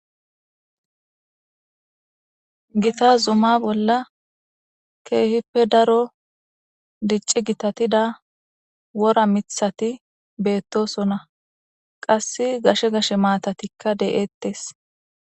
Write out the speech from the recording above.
gita zuma bolla keehippe daro dicci gitatida wora mithati beettosona qass gashe gashe maatatikka de7eettes